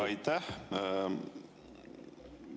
Aitäh!